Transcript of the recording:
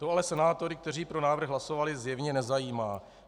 To ale senátory, kteří pro návrh hlasovali, zjevně nezajímá.